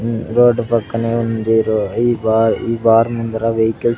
ఉమ్ road పక్కనే ఉంది రో ఈ బార్ ఈ బార్ ముందర వెహికల్ --